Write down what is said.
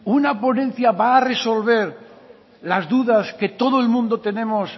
una ponencia va a resolver las dudas que todo el mundo tenemos